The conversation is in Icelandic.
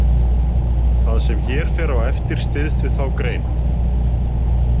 Það sem hér fer á eftir styðst við þá grein.